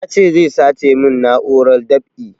Ya ce zai sace mun na'urar dab'i